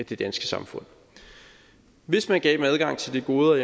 det danske samfund hvis man gav dem adgang til de goder